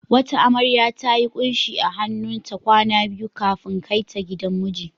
Wata amarya ta yi kunshi a hannunta kwana biyu kafin kai ta gidan miji.